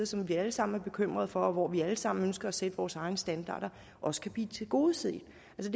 som vi alle sammen er bekymrede for og hvor vi alle sammen ønsker at sætte vores egne standarder også kan blive tilgodeset det